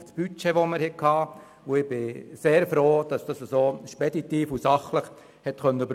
Ich bin sehr froh, dass die Diskussionen speditiv und sachlich verlaufen sind.